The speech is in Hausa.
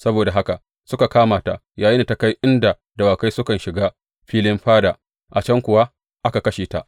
Saboda haka suka kama ta yayinda ta kai inda dawakai sukan shiga filin fada, a can kuwa aka kashe ta.